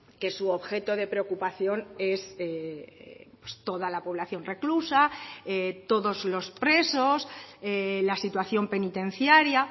que su objeto de preocupación es toda la población reclusa todos los presos la situación penitenciaria